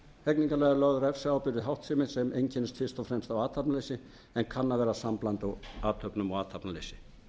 hegningarlaga er lögð refsiábyrgð við háttsemi sem einkennist fyrst og fremst af athafnaleysi en kann að vera sambland af athöfnum og athafnaleysi